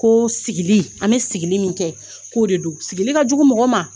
Ko sigili ,an be sigili min kɛ k'o de don . Sigili ka jugu mɔgɔ ma.